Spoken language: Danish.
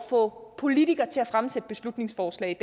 få politikere til at fremsætte beslutningsforslag